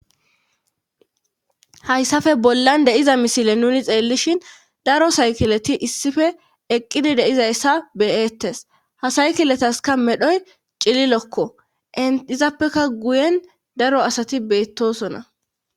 Hayssafe bollan deiza misile nuni xeellishin daro saykileti issife eqqidi deizayssa beyettes ha saykiletaska medhoy cililokko eizappeka guyen daro asati beettosona